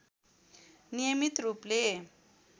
नियमित रूपले